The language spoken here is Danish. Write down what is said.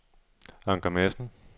Anker Madsen